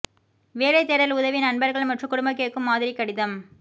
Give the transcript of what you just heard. வேலை தேடல் உதவி நண்பர்கள் மற்றும் குடும்ப கேட்கும் மாதிரி கடிதம்